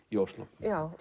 í Osló